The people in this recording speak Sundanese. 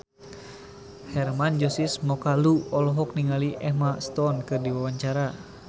Hermann Josis Mokalu olohok ningali Emma Stone keur diwawancara